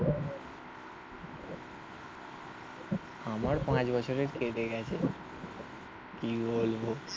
আমার পাঁচ বছরে কেটে গেছে. কি বলবো?